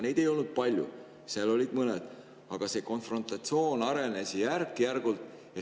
Neid ei olnud palju, olid mõned, aga see konfrontatsioon arenes järk-järgult.